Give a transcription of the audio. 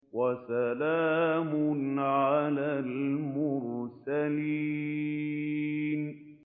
وَسَلَامٌ عَلَى الْمُرْسَلِينَ